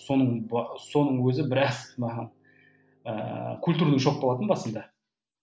соның соның өзі біраз маған ы культурный шок болатын басында